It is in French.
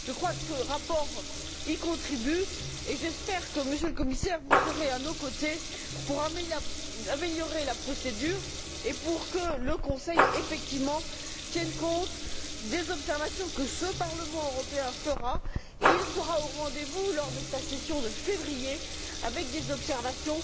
Je crois que ce rapport y contribue et j'espère, Monsieur le Commissaire, que vous serez à nos côtés pour améliorer la procédure et pour que le Conseil tienne effectivement compte des observations que ce Parlement européen fera. Nous serons au rendez vous lors de la session de février, avec des observations